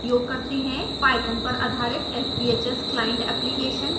python पर आधारित sbhs client application कैसे उपयोग करते हैं